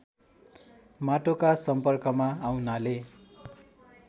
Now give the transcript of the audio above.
माटोका सम्पर्कमा आउनाले